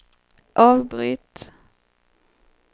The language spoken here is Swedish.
avbryt